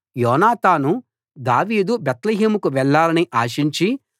యోనాతాను దావీదు బేత్లెహేముకు వెళ్ళాలని ఆశించి